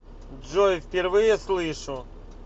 джой впервые слышу